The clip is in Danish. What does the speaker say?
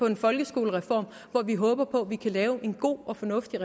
en folkeskolereform hvor vi håber på at vi kan lave en god og fornuftig